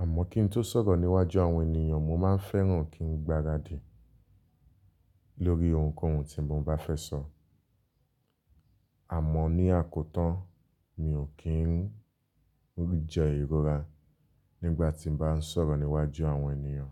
Àmọ́ kín tó sọ̀rọ̀ níwájú àwọn ènìyàn mo má ń fẹ́ràn kín gbaradì lórí ohun kóhun tí mo bá fẹ́ sọ. Àmọ́ ní àkótán mi ò kí ń jẹ ìrora nígbà tí mo bá ń sọ̀rọ̀ níwájú àwọn ènìyàn.